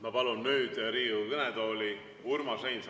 Ma palun nüüd Riigikogu kõnetooli Urmas Reinsalu.